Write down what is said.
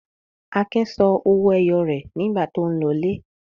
Akin sọ owó ẹyọ rẹ̀ nígbà tó ń lọlé.